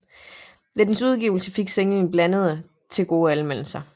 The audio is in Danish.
Ved dens udgivelse fik singlen blandede til gode anmeldelser